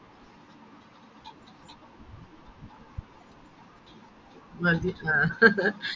മതി ആഹ്